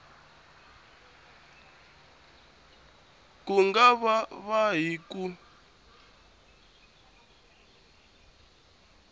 ku nga va hi ku